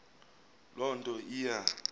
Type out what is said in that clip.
loo nto iya